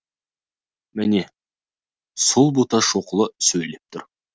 міне сол боташ шоқұлы сөйлеп тұр